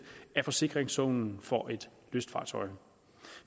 af forsikringssummen for et lystfartøj